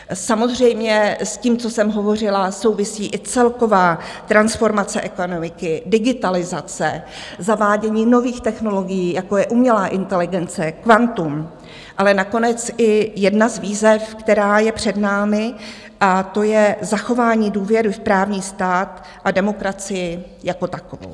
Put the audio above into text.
Samozřejmě s tím, co jsem hovořila, souvisí i celková transformace ekonomiky, digitalizace, zavádění nových technologií, jako je umělá inteligence, kvantum, ale nakonec i jedna z výzev, která je před námi, a to je zachování důvěry v právní stát a demokracii jako takovou.